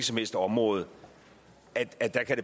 som helst område